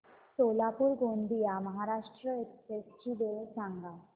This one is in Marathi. सोलापूर गोंदिया महाराष्ट्र एक्स्प्रेस ची वेळ सांगा